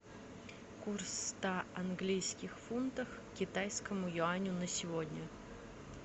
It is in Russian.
курс ста английских фунтов к китайскому юаню на сегодня